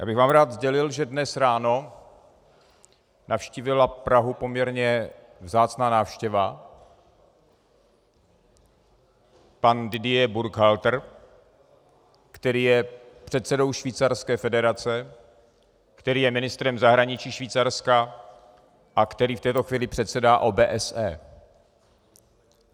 Já bych vám rád sdělil, že dnes ráno navštívila Prahu poměrně vzácná návštěva - pan Didier Burkhalter, který je předsedou Švýcarské federace, který je ministrem zahraničí Švýcarska a který v této chvíli předsedá OBSE.